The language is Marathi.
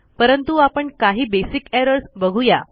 परंतु आपण काही बेसिक errorsबघूया